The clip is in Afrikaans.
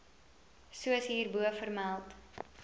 soos hierbo vermeld